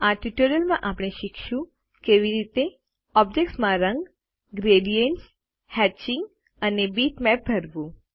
આ ટ્યુટોરીયલમાં શીખશો કે કેવી રીતે ઓબ્જેક્ત્સ માં રંગગ્રેડીએન્ટસ હેત્ચિંગ અને બીટમેપ ભરવું